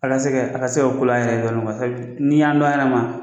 Ala se ka a ka se ka kolo a yɛrɛ ye kuwa sabu n'i y'an to an yɛrɛ ma